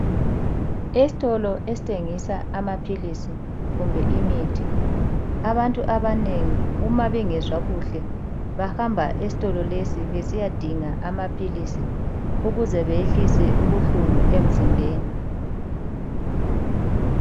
Esitolo esithengisa amaphilisi kumbe imithi abantu abanengi uma bengezwa kuhle bahamba esitolo lesi besiyadinga amaphilisi ukuze beyehlise ubuhlungu emzimbeni.